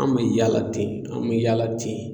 An mɛ yaala ten an mɛ yaala ten.